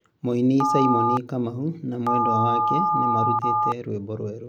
Mũini Simon Kamau na mwendwa wake nĩmarutĩte rwimbo rweru